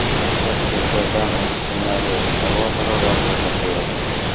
Toshkentda dam olish kunlari havo harorati pasayadi.